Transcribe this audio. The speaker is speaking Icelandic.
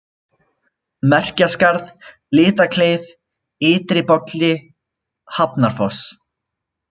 Merkjaskarð, Litlakleif, Ytri-Bolli, Hafnarfoss